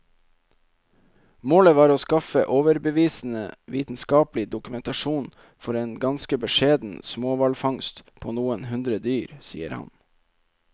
Målet var å skaffe overbevisende vitenskapelig dokumentasjon for en ganske beskjeden småhvalfangst på noen hundre dyr, sier han.